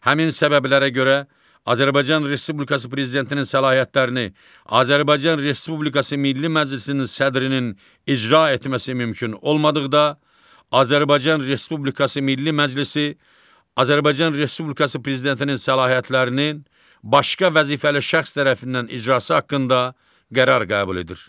Həmin səbəblərə görə Azərbaycan Respublikası Prezidentinin səlahiyyətlərini Azərbaycan Respublikası Milli Məclisinin sədrinin icra etməsi mümkün olmadıqda, Azərbaycan Respublikası Milli Məclisi, Azərbaycan Respublikası Prezidentinin səlahiyyətlərini, başqa vəzifəli şəxs tərəfindən icrası haqqında qərar qəbul edir.